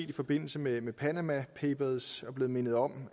i forbindelse med med panama papers blevet mindet om